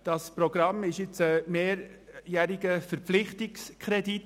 Es handelt sich dabei um einen mehrjährigen Verpflichtungskredit.